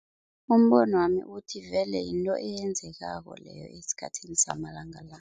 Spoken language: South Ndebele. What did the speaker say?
Umbonwami uthi vele yinto eyenzekako leyo esikhathini samalanga la.